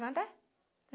Nada